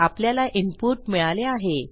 आपल्याला इनपुट मिळाले आहे